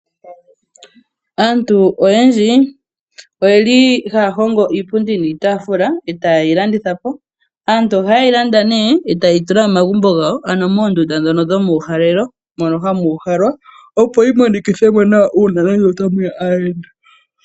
Aantu oyendji, oyeli ha ya hongo iipundi niitafula, e ta yeyi landitha po. Aantu oha ye yi landa nee, e taa yi tula momagumbo gawo, ano moondunda dhono dhomuuhalelo mono hamu uhalwa, opo yi monikithemo nawa unene nge ota mu ya aahenda.